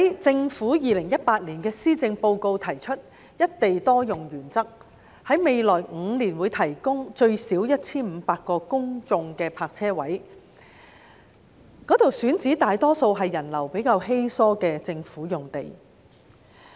政府在2018年的施政報告中提出"一地多用"原則，在未來5年會提供至少 1,500 個公眾泊車位，選址大多數是人流比較稀疏的政府用地。